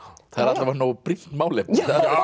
það er alla vega nógu brýnt málefni já